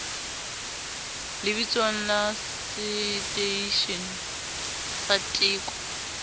lebitsong la seteishene sa teko